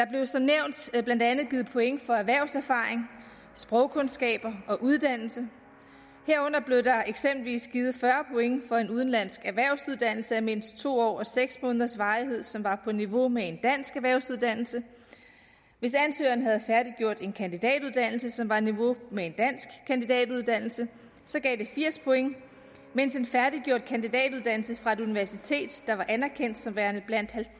år blandt andet givet point for erhvervserfaring sprogkundskaber og uddannelse herunder blev der eksempelvis givet fyrre point for en udenlandsk erhvervsuddannelse af mindst to år og seks måneders varighed som var på niveau med en dansk erhvervsuddannelse hvis ansøgeren havde færdiggjort en kandidatuddannelse som var på niveau med en dansk kandidatuddannelse gav det firs point mens en færdiggjort kandidatuddannelse fra et universitet der var anerkendt som værende blandt